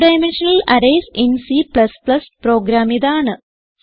2 dimensional arrays in C പ്രോഗ്രാമിതാണ്